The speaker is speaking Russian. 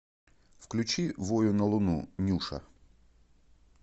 включи вою на луну нюша